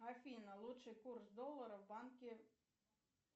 афина лучший курс доллара в банке